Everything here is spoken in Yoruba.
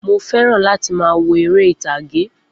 Mo fẹ́ràn láti máa wo eré ìtàgé